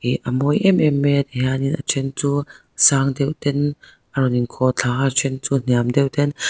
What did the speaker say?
ihh a mawi em em mai a ti hianin a then chu sang deuh ten a rawn inkhawh thla a then chu hniam deuh ten--